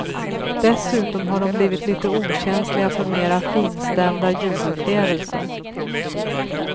Dessutom har de blivit lite okänsliga för mera finstämda ljudupplevelser.